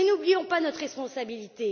Mais n'oublions pas notre responsabilité.